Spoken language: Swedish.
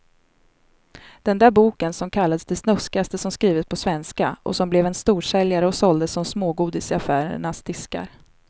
Den där boken som kallades det snuskigaste som skrivits på svenska och som blev en storsäljare och såldes som smågodis i affärernas diskar.